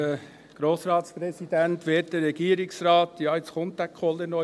Jetzt kommt dieser Kohler, dieser Könizer auch noch.